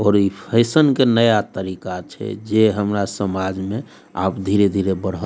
और इ फैशन के नया तरीका छै जे हमरा समाज में अब धीरे-धीरे बढ़ल --